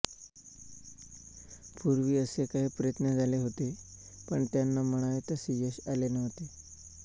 पूर्वी असे काही प्रयत्न झाले होते पण त्यांना म्हणावे तसे यश आले नव्हते